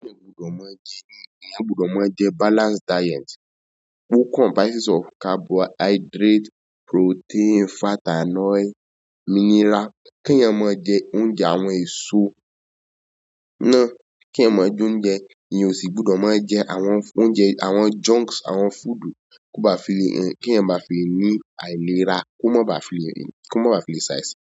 Kí ẹ gbọdọ máa jẹ, kí ẹ gbọdọ máa jẹ balanced diet. Ò comprises of carbohydrate, protein, fat and oil mineral. Kí ẹ má jẹ oúnjẹ àwọn èso náà, kí ẹ má jẹ oúnjẹ eyyá òṣì, gbọdọ máa jẹ àwọn oúnjẹ àwọn junks, àwọn food kó bá fi rí ẹ, kí ẹ má fi ní àìlera kó má bá fi rí, kó má bá fi size.